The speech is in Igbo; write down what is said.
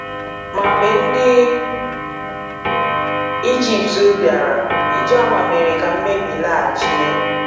Ma mgbe ndị Ijipt bịara, Ijoma mere ka mmebi laghachi.